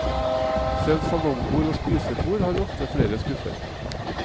Selv salongbord og spisebord har ofte flere skuffer.